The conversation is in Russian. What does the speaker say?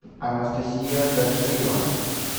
анастасия гаджиева